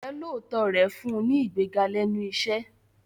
Ìjọ́lóòótọ́ rẹ̀ fún un ní ìgbéga lẹ́nu iṣẹ́.